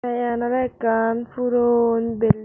tay iyen oley ekkan puron bilding .